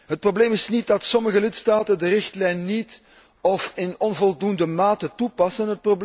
Het probleem is niet dat sommige lidstaten de richtlijn niet of in onvoldoende mate toepassen.